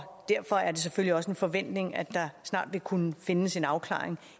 derfor er det selvfølgelig også en forventning at der snart vil kunne findes en afklaring